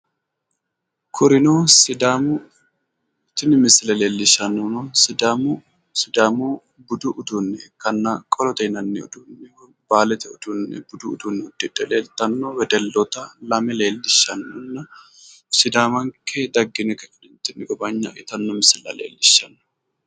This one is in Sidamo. Kurino sidaamu tini misile leellishshaannohuno sidaamu sidaamu budu uduunne ikkanna qolote yinanni budu uduunne uddidhe leeltanno wedelloota lame leellishshanno. Sidaamanke daggine ka'ineentinni gowaayna'e yitanno misilla leellishshanno.